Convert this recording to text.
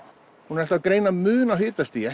hún er alltaf að greina mun á hitastigi